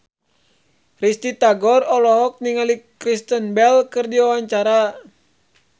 Risty Tagor olohok ningali Kristen Bell keur diwawancara